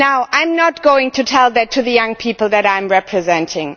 I am not going to say that to the young people that I am representing.